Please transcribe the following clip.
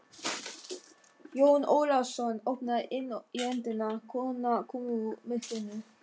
Jón Ólafsson opnaði inn í öndina, kona kom úr myrkrinu.